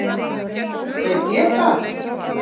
veit ég það?